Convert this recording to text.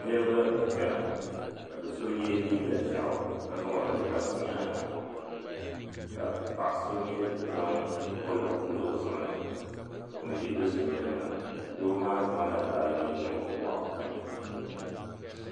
Niriba n chana ka do'so ye liiga ʒaɣu ka zaŋ o nuu labisi o nyaanga ka paɣa so mi zaŋ woluɣu pili o zuɣu ni m be do'so nyaanga doo maa zaŋla baagi niŋ o bɔɣu puuni.